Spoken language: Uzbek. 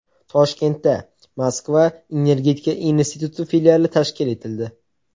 Toshkentda Moskva energetika instituti filiali tashkil etildi.